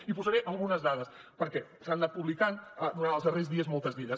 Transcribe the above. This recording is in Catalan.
i posaré algunes dades perquè se n’han anat publicant durant els darrers dies moltes d’elles